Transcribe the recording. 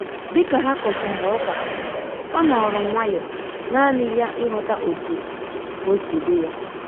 Dịka ha kochara ụka, ọ nọrọ nwayọ nanị ya ịghọta otu osi dị ya